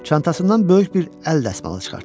Çantasından böyük bir əl dəsmalı çıxartdı.